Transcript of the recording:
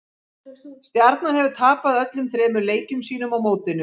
Stjarnan hefur tapað öllum þremur leikjum sínum á mótinu.